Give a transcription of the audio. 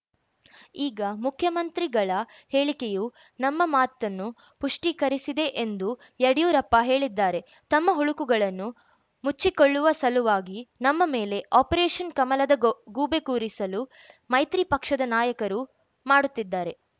ಈಗ ಮುಖ್ಯಮಂತ್ರಿಗಳ ಹೇಳಿಕೆಯು ನಮ್ಮ ಮಾತನ್ನು ಪುಷ್ಟೀಕರಿಸಿದೆ ಎಂದು ಯಡಿಯೂರಪ್ಪ ಹೇಳಿದ್ದಾರೆ ತಮ್ಮ ಹುಳುಕುಗಳನ್ನು ಮುಚ್ಚಿಕೊಳ್ಳುವ ಸಲುವಾಗಿ ನಮ್ಮ ಮೇಲೆ ಆಪರೇಷನ್‌ ಕಮಲದ ಗೋ ಗೂಬೆ ಕೂರಿಸಲು ಮೈತ್ರಿ ಪಕ್ಷದ ನಾಯಕರು ಮಾಡುತ್ತಿದ್ದಾರೆ